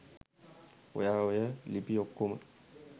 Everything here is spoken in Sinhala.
ඔයා ඔය ලිපි ඔක්කොම